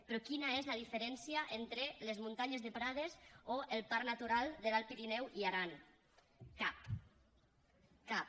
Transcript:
però quina és la diferència entre les muntanyes de prades o el parc natural de l’alt pirineu i aran cap cap